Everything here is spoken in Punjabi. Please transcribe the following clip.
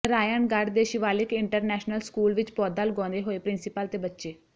ਨਰਾਇਣਗੜ੍ਹ ਦੇ ਸ਼ਿਵਾਲਿਕ ਇੰਟਰਨੈਸ਼ਨਲ ਸਕੂਲ ਵਿਚ ਪੌਦਾ ਲਗਾਉਂਦੇ ਹੋਏ ਪ੍ਰਿੰਸੀਪਲ ਤੇ ਬੱਚੇ